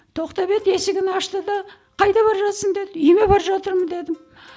тоқтап еді есігін ашты да қайда бара жатырсың деді үйіме бар жатырмын дедім